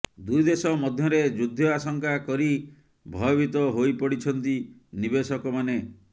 ଦୁଇ ଦେଶ ମଧ୍ୟରେ ଯୁଦ୍ଧ ଆଶଙ୍କା କରି ଭୟଭୀତ ହୋଇପଡିଛନ୍ତି ନିବେଶକମାନେ